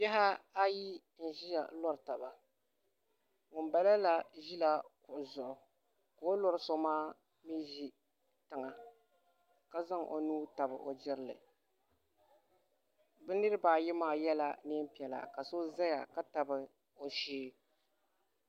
Bihi ayi n ʒiya n lori taba ŋunbala la ʒila kuɣu zuɣu ka o ni lori so maa mii ʒi tiŋa ka zaŋ o nuu tabi o jirili bi niraba ayi maa yɛla neen piɛla ka so ʒiya ka tabi o shee